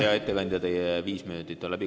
Hea ettekandja, teie viis minutit on läbi.